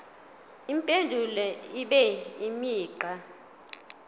impendulo ibe imigqa